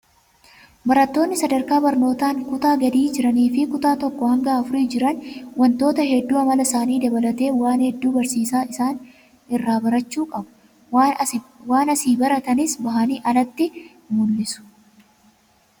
Barattoonni sadarkaa barnootaan kutaa gadii jiranii fi kutaa tokkoo haga afurii jiran wantoota hedduu amala isaanii dabalatee waan hedduu barsiisaa isaanii irraa barachuu qabu. Waan asii baratanis bahanii alatti mul'isu.